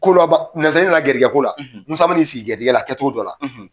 Kolaban nasa garijigɛko la musa ma n'i sigi garijigƐ la kɛ cogo dƆ la